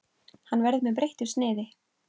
Hann verður með breyttu sniði.